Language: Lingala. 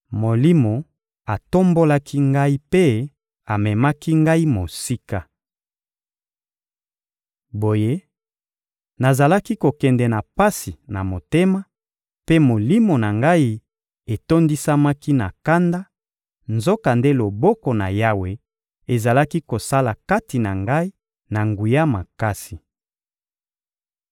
Molimo atombolaki ngai mpe amemaki ngai mosika. Boye, nazalaki kokende na pasi na motema, mpe molimo na ngai etondisamaki na kanda; nzokande loboko na Yawe ezalaki kosala kati na ngai na nguya makasi.